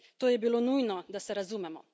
To je bilo nujno, da se razumemo.